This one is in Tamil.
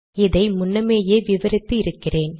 இதை முன்னமேயே விவரித்து இருக்கீறேன்